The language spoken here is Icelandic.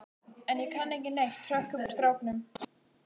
En ég kann ekki neitt, hrökk upp úr stráknum.